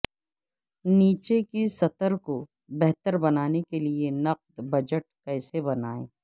نیچے کی سطر کو بہتر بنانے کے لئے نقد بجٹ کیسے بنائیں